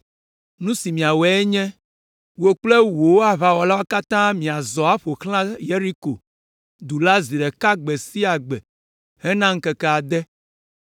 Nu si miawɔe nye, wò kple wò aʋawɔlawo katã miazɔ aƒo xlã Yeriko du la zi ɖeka gbe sia gbe hena ŋkeke ade.